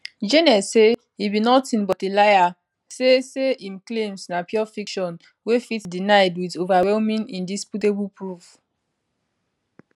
jnes say e be nothing but a liar say say im claims na pure fiction wey fit denied wit overwhelming indisputable proof